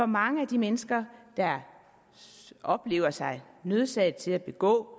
mange af de mennesker der oplever sig nødsaget til at begå